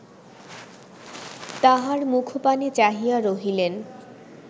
তাঁহার মুখপানে চাহিয়া রহিলেন